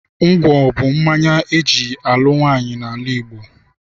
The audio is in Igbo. Ngwọ bụ mmanya eji alụ nwaanyị n'ala Igbo.